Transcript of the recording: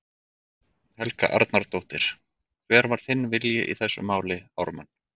Helga Arnardóttir: Hver var þinn vilji í þessu máli, Ármann?